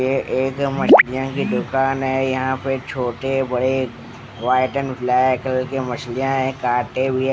ये एक मछलियों की दुकान है यहाँ पे छोटे बड़े व्हाइट एण्ड ब्लैक कलर की मछलियाँ है काटे हुए ।